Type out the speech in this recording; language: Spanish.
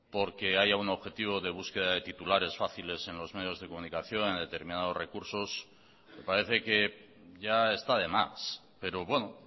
porque haya un objetivo de búsqueda de titulares fáciles en los medios de comunicación a determinados recursos me parece que ya está de más pero bueno